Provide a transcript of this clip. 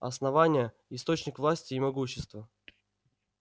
основание источник власти и могущества